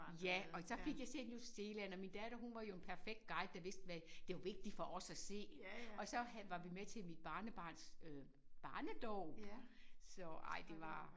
Ja og så fik jeg set New Zealand og min datter hun var jo en perfekt guide der vidste hvad der var vigtigt for os at se og så havde var vi med til mit barnebarns øh barnedåb så ej det var